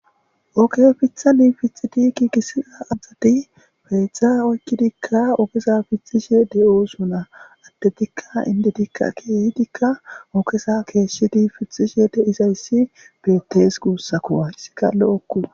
Ogge fiththan fixxidi gigissiza assati pexxa oykkidika oggeza fixxishe de'ossona addetika inddetika kehiddika oggeza geshshidi fixxishe de'izayssi bettes gussakko hayssika lo'okko.